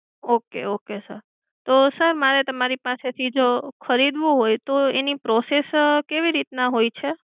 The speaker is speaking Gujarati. okay okay sir તો sir મારે તમારી પાસેથી જો ખરીદવું હોય તો એની process કેવી રીતના હોય છે?